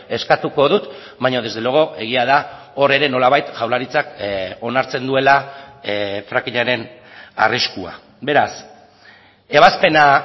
eskatuko dut baina desde luego egia da hor ere nolabait jaurlaritzak onartzen duela frackingaren arriskua beraz ebazpena